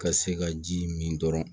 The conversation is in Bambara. Ka se ka ji min dɔrɔn